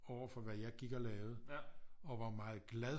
Overfor hvad jeg gik og lavede og var meget glad